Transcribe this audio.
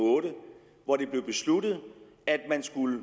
og otte hvor det blev besluttet at man skulle